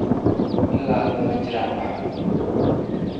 Ilaa hadda ma jiraan wax xun.